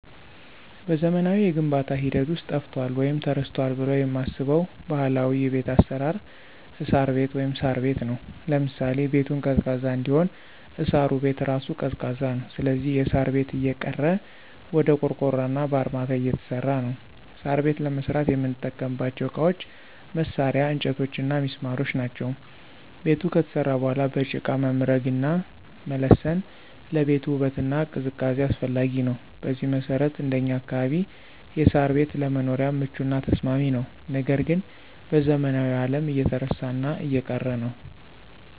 በዘመናዊው የግንባታ ሂደት ውስጥ ጠፍቷል ወይም ተረስቷል ብለው የማስበው ባህላዊ የቤት አሰራር እሳር ቤት(ሳር ቤት) ነው። ለምሳሌ -ቤቱን ቀዝቃዛ እንዲሆን እሳሩ ቤት እራሱ ቀዝቃዛ ነው ስለዚህ የሳር ቤት እየቀረ ወደ ቆርቆሮና በአርማታ እየተሰራ ነው። ሳር ቤት ለመስራት የምንጠቀምባቸው እቃዎች፣ መሳርያ፣ እንጨቶችና ሚስማሮች ናቸው። ቤቱ ከተሰራ በኋላ በጭቃ መምረግና መለሰን ለቤቱ ውበትና ቅዝቃዜ አስፈላጊ ነው። በዚህ መሰረት እንደኛ አካባቢ የሳር ቤት ለመኖሪያም ምቹና ተስማሚ ነው ነገር ግን በዘመናዊው አለም እየተረሳና እየቀረ ነው።